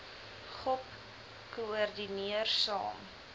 gop koördineerder saam